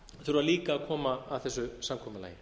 þurfa líka að koma að þessu samkomulagi